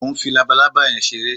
Mo ń fi labaalábá yẹn ṣeré